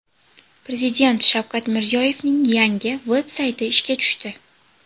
Prezident Shavkat Mirziyoyevning yangi veb-sayti ishga tushdi.